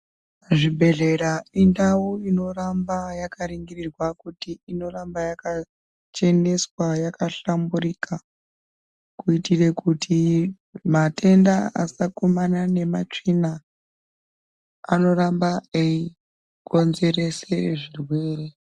Zvibhedhlera indau inoramba yakaringirwa kuti inoramba yakacheneswa yakahlamburika kuitire kuti matenda asakumana nematsvina anoramba eikonzerese zvirwere.